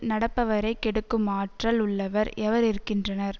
நடப்பவரை கெடுக்கும் ஆற்றல் உள்ளவர் எவர் இருக்கின்றனர்